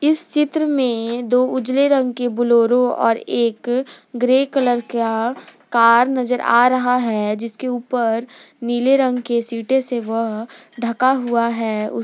इस चित्र में दो उजले रंग की बुलोरो और एक ग्रे कलर का कार नजर आ रहा है जिसके ऊपर नीले रंग के सीटे से वह ढका हुआ है उस--